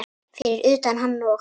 Fyrir utan hann og